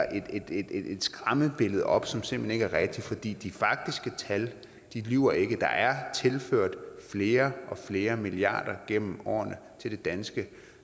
et skræmmebillede op som simpelt hen ikke rigtigt for de de faktiske tal lyver ikke der er tilført flere og flere milliarder gennem årene til det danske